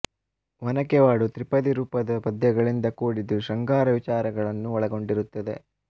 ಒನಕೆವಾಡು ತ್ರಿಪದಿ ರೂಪದ ಪದ್ಯಗಳಿಂದ ಕೂಡಿದ್ದು ಶೃಂಗಾರ ವಿಚಾರಗಳನ್ನು ಒಳಗೊಂಡಿರುತ್ತದೆ